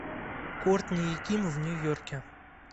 кортни и ким в нью йорке